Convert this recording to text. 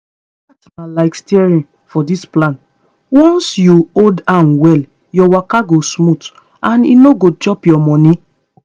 chart na like steering for this plan once you hold am well your waka go smooth and e no go chop your money.